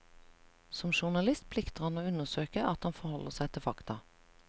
Som journalist plikter han å undersøke at han forholder seg til fakta.